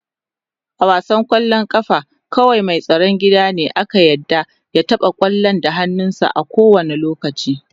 A wasan kwallon kafa kawai mai tsaron gida ne ake yarda ya taba kwallon da hannunsa a kowane lokaci.